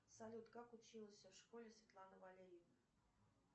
салют как училась в школе светлана валерьевна